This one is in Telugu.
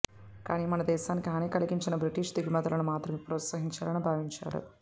కానీ మన దేశానికి హాని కలిగించని బ్రిటిషు దిగుమతులను మాత్రమే ప్రోత్సహించాలని భావించేవాడు